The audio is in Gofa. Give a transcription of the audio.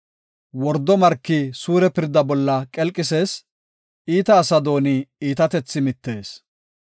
Wordo marki suure pirda bolla qelqisees; iita asa dooni iitatethi mittees.